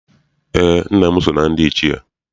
Eé, nna m so na ndị Ichie.